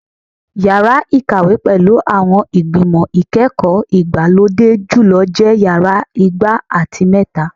Yara ikawe pẹlu awọn igbimọ ikẹkọ igbalode julọ jẹ Yara igba ati mẹta